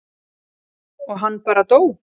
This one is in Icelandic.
og hann bara dó.